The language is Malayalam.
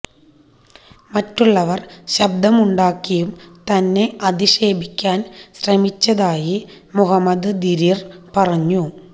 മറ്റുള്ളവർ ശബ്ദമുണ്ടാക്കിയും തന്നെ അധിക്ഷേപിക്കാൻ ശ്രമിച്ചതായി മുഹമ്മദ് ദിരിർ പറഞ്ഞു